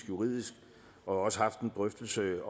juridisk og også har haft en drøftelse